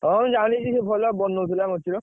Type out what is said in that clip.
ହଁ ମୁଁ ଜାଣିଛି ସେ ଭଲ ବନଉଥିଲା ମୂର୍ତି ର।